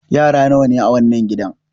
Yara nawa ne a wannan gidan?